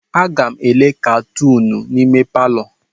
Aga m ele katunu n'ime palọ.